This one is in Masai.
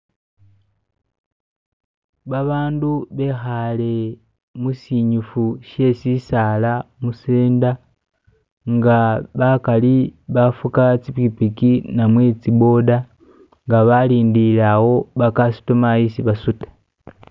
babandu behale musinyifu sesisaala musenda nga bakali bafuka tsipikipiki namwe tsiboda nga balindilile wo bakasitoma isi basuta